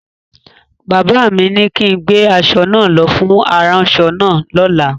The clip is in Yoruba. Bàbá mi ni kin gbé aṣọ náà lọ fún aránṣọ náà lọ́la!